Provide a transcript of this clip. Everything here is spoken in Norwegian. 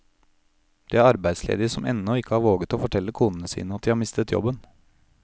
Det er arbeidsledige som ennå ikke har våget å fortelle konene sine at de har mistet jobben.